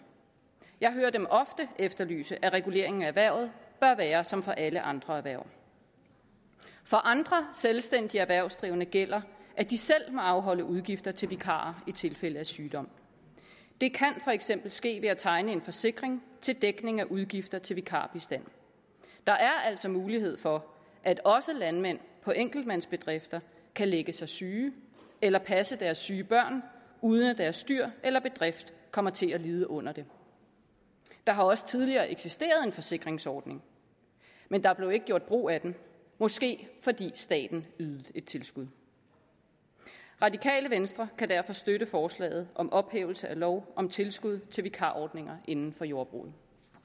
jeg hører dem ofte efterlyse at reguleringen af erhvervet bør være som for alle andre erhverv for andre selvstændige erhvervsdrivende gælder at de selv må afholde udgifter til vikarer i tilfælde af sygdom det kan for eksempel ske ved at tegne en forsikring til dækning af udgifter til vikarbistand der er altså mulighed for at også landmænd på enkeltmandsbedrifter kan lægge sig syge eller passe deres syge børn uden at deres dyr eller bedrift kommer til at lide under det der har også tidligere eksisteret en forsikringsordning men der blev ikke gjort brug af den måske fordi staten ydede tilskud radikale venstre kan derfor støtte forslaget om ophævelse af lov om tilskud til vikarordninger inden for jordbruget